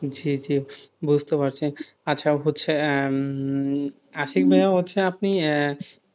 জি জি বুঝতে পারছে আচ্ছা হচ্ছে আহ আশিক ভাইয়া হচ্ছে আপনি আহ